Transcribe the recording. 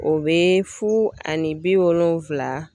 O bɛ fu ani bi wolonwula